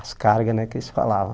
As cargas, né, que eles falavam.